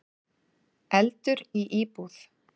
Eldur í íbúð